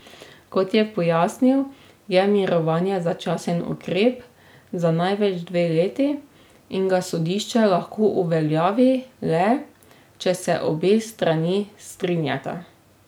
Kot je pojasnil, je mirovanje začasen ukrep za največ dve leti in ga sodišče lahko uveljavi le, če se obe strani strinjata.